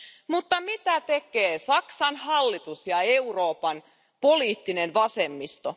Mutta mitä tekee Saksan hallitus ja Euroopan poliittinen vasemmisto?